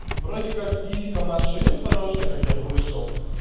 вроде как физика машин хорошая как я слышал